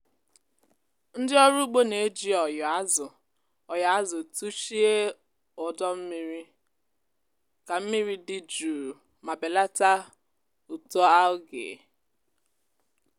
ndị ọrụ ugbo na-eji ọyò azụ ọyò azụ tuchie ọdọ mmiri ka mmiri dị jụụ ma belata uto algae.